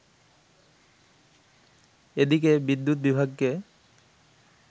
এদিকে বিদ্যুৎ বিভাগকে